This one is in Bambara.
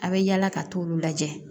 A bɛ yaala ka t'olu lajɛ